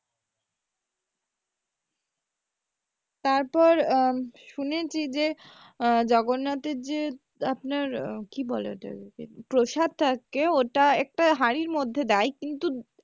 তারপর আহ শুনেছি যে আহ জগন্নাথ এর যে আপনার কি বলে ওটাকে প্রসাদ থাকে ওটা একটা হাঁড়ির মধ্যে দেয় কিন্তু এক